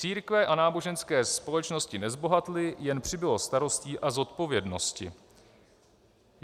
Církve a náboženské společnosti nezbohatly, jen přibylo starostí a zodpovědnosti.